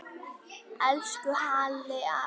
Elsku Halli afi.